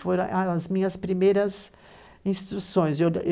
Foram as minhas primeiras instituições.